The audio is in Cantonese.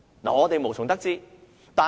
我們無從得知。